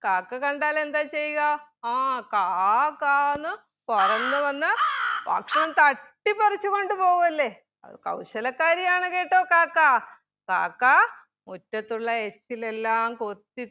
കാക്ക കണ്ടാൽ എന്താ ചെയ്യുക? ആ കാ കാ എന്ന് പറന്ന് വന്ന് ഭക്ഷണം തട്ടിപ്പറിച്ച് കൊണ്ട് പോവുമല്ലെ അഹ് കൗശലക്കാരിയാണ് കേട്ടോ കാക്ക കാക്ക മുറ്റത്തുള്ള എച്ചിലെല്ലാം കൊത്തി